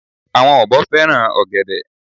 àwọn ọ̀bọ fẹràn ògèdè